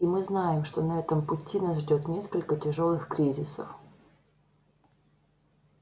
и мы знаем что на этом пути нас ждёт несколько тяжёлых кризисов